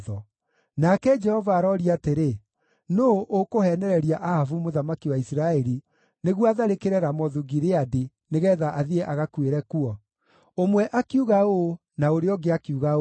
Nake Jehova aroria atĩrĩ, ‘Nũũ ũkũheenereria Ahabu mũthamaki wa Isiraeli nĩguo atharĩkĩre Ramothu-Gileadi, nĩgeetha athiĩ agakuĩre kuo?’ “Ũmwe akiuga ũũ, na ũrĩa ũngĩ akiuga ũũ.